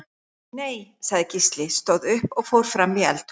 Nei, sagði Gísli, stóð upp og fór fram í eldhús.